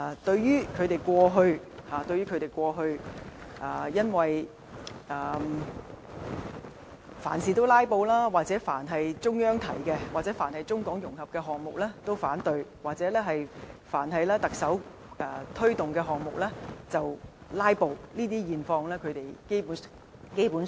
對於他們過去凡事"拉布"，凡是中央提出的事宜，或涉及中港融合的項目均反對，或凡是特首推動的項目就"拉布"，基本上他們不會提及這些。